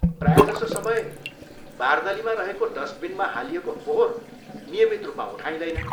प्रायजसो समय, बार्दलीमा रहेको डस्टबिनमा हालिएको फोहोर नियमित रूपमा उठाइँदैन।